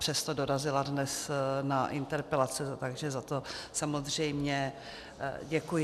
Přesto dorazila dnes na interpelace, takže za to samozřejmě děkuji.